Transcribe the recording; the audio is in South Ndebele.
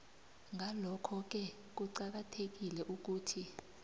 ngalokhoke kuqakathekile ukuthi